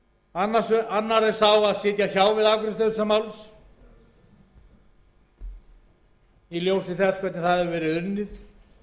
mínu viti annar er sá að sitja hjá við afgreiðslu þessa máls í ljósi þess hvernig það hefur verið unnið